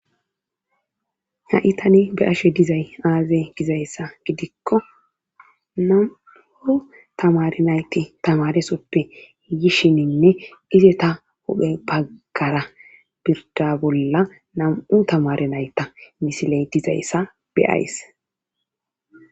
ha7i tani be ashe dizay aazey gizayssa gidikko namu7o tamari nayti tamaresoppe yishininne ize ta huphe baggara birda bolla nam7u tamare nayta misiley dizayssa beyays